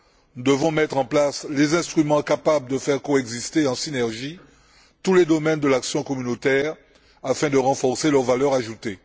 Nous devons mettre en place les instruments capables de faire coexister, en synergie, tous les domaines de l'action communautaire afin de renforcer leur valeur ajoutée.